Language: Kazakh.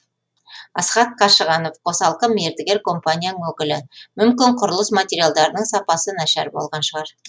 асхат қашығанов қосалқы мердігер компанияның өкілі мүмкін құрылыс материалдарының сапасы нашар болған шығар